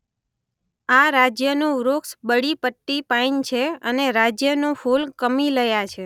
આ રાજ્યનું વૃક્ષ બડી પટ્ટી પાઇન છે અને રાજ્યનું ફૂલ કમીલયા છે.